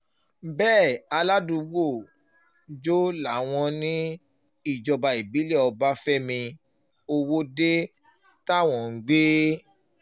bẹ́ẹ̀ aládùúgbò jó làwọn ìjọba ìbílẹ̀ ọbáfẹ́mi ọwọ́de táwọn ń gbé